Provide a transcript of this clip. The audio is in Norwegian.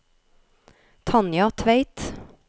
Tanja Tveit